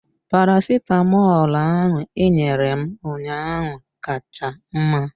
Paracetamolu ahụ ị nyere m ụnyaahụ ka cha mma.